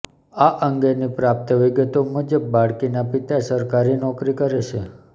આ અંગેની પ્રાપ્ત વિગતો મુજબ બાળકીના પિતા સરકારી નોકરી કરે છે